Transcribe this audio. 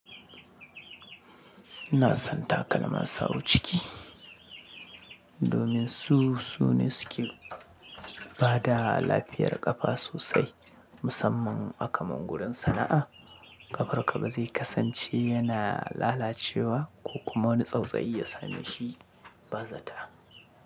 Ina son takalma sawu ciki, domin su, su ne suke bada lafiyar ƙafa sosai musamman akaman gurin sana'a ƙafar ka ba zai kasance yana lalacewa, ko kuma wani tsautsayi ya same shi ba zata.